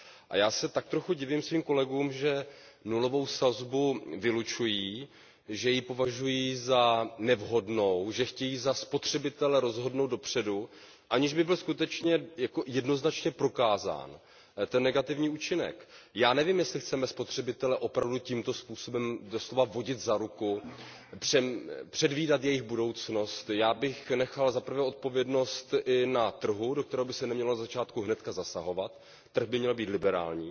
A já se tak trochu divím svým kolegům, že nulovou sazbu vylučují, že ji považují za nevhodnou, že chtějí za spotřebitele rozhodnout dopředu, aniž by byl skutečně jednoznačně prokázán ten negativní účinek. Já nevím, jestli chceme spotřebitele opravdu tímto způsobem doslova vodit za ruku, předvídat jejich budoucnost. Já bych nechal odpovědnost i na trhu, do kterého by se nemělo ze začátku hned zasahovat, trh by měl být liberální,